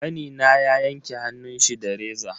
Kanina ya yanke hannunshi da reza.